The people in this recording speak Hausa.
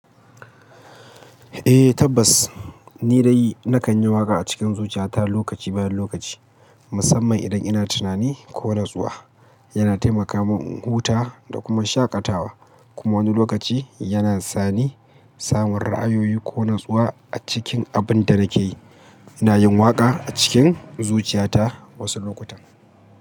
Eh tabbas, ni dai na kan yi waƙa a cikin zuciya ta lokaci bayan lokaci, musamman idan ina tinani ko natsuwa. Yana taimaka mun un huta da kuma shaƙatawa, kuma wani lokaci yana sani, samun ra'ayoyi ko natsuwa a cikin abin da nake yi. Ina yin waƙa a cikin zuciya ta wasu lokutan.